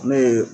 Ne ye